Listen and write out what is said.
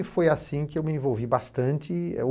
E foi assim que eu me envolvi bastante.